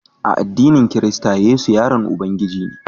A addinin kirista Yesu yaron Ubangiji ne